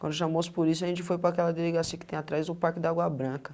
Quando chamou os polícia, a gente foi para aquela delegacia que tem atrás do Parque da Agua Branca.